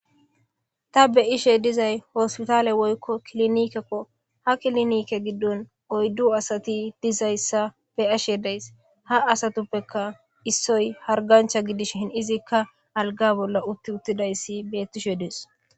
ta be ishe dizay hospitaale woykko kilinikekko ha kilinike giddon oyddu asati dizayssa be ashe days ha asatuppeka issoy hargancha gidish hin izikka alga bolla utti uttidayssi bettishe dees